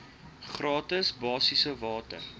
gratis basiese water